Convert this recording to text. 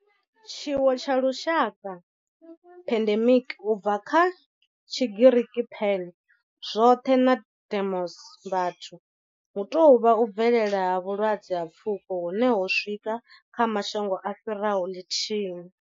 Tshiwo tsha lushaka, pandemic, u bva kha Tshigiriki pan, 'zwothe' na demos, 'vhathu', hu tou vha u bvelela ha vhulwadze ha pfuko hune ho swika, kha mashango a fhiraho lithihi.